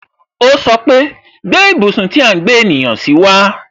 O sọpe "Gbé ibùsùn tí à ń gbé ènìyàn si wa